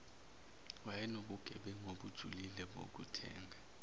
wayenobugebengu obujulile bokuthenga